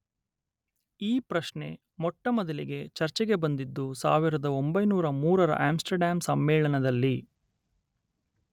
ಈ ಪ್ರಶ್ನೆ ಮೊಟ್ಟಮೊದಲಿಗೆ ಚರ್ಚೆಗೆ ಬಂದದ್ದು ಸಾವಿರದೊಂಬೈನೂರ ಮೂರರ ಆಂಸ್ಟರ್ಡ್ಯಾಮ್ ಸಮ್ಮೇಳನದಲ್ಲಿ